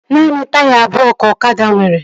Naanị taya abụọ ka ọkada nwere